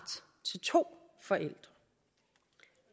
til to forældre